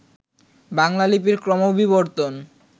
বাংলা লিপির ক্রমবিবর্তন